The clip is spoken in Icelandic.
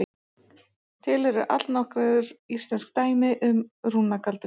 Til eru allnokkur íslensk dæmi um rúnagaldur.